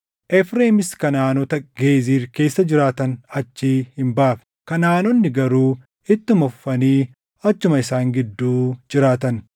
Efreemis Kanaʼaanota Geezir keessa jiraatan achii hin baafne; Kanaʼaanonni garuu ittuma fufanii achuma isaan gidduu jiraatan.